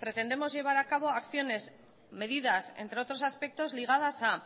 pretendemos llevar a cabo acciones medidas entre otros aspectos ligadas a